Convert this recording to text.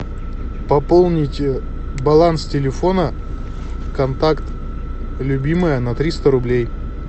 пополнить баланс телефона контакт любимая на триста рублей